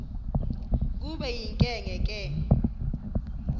kube yinkinge ke